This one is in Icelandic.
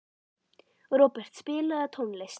Robert, spilaðu tónlist.